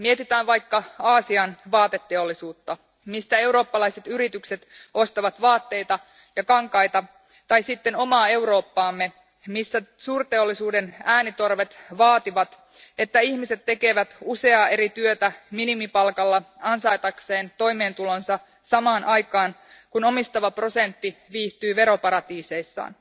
Mietitään vaikka Aasian vaateteollisuutta, mistä eurooppalaiset yritykset ostavat vaatteita ja kankaita, tai sitten omaa Eurooppaamme, missä suurteollisuuden äänitorvet vaativat, että ihmiset tekevät useaa eri työtä minimipalkalla ansaitakseen toimeentulonsa samaan aikaan kun omistava prosentti viihtyy veroparatiiseissaan.